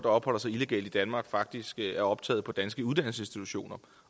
opholder sig illegalt i danmark faktisk er optaget på danske uddannelsesinstitutioner